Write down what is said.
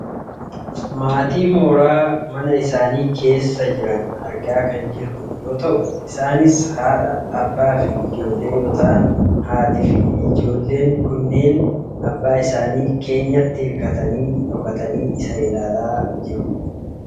Maatii mooraa mana isaanii keessa jiran argaa kan jirrudha. Isaanis haadha abbaa fi ijoollee yoo ta'an haatii fi ijoollee kunneen abbaa isaanii keenyaatti hirkatanii , dhokatanii isa ilaalaa kan jiranidha.